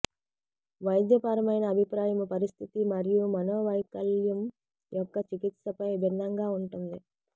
వైద్యపరమైన అభిప్రాయం పరిస్థితి మరియు మనోవైకల్యం యొక్క చికిత్సపై భిన్నంగా ఉంటుంది